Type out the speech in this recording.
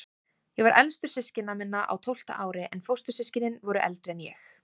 Ég var elstur systkina minna, á tólfta ári, en fóstur- systkinin voru eldri en ég.